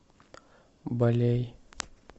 балей